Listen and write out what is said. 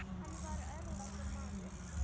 Hann var örlátur maður.